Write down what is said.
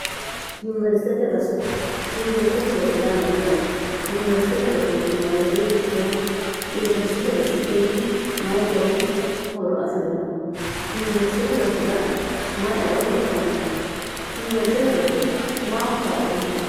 yuniwersitete roso yaa mayyaate yuniwersitete roso woweteyitto yuniwersitete rosi kunni mayi gari horu afi'rino yuniwersitete rosira mayieo heedhanno yuniwersitete rosi maaho kaa'lanni